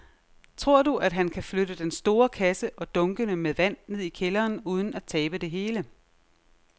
Tror du, at han kan flytte den store kasse og dunkene med vand ned i kælderen uden at tabe det hele?